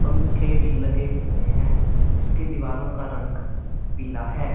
पंखे भी लगे हुए हैं इसकी दीवारों का रंग पीला है।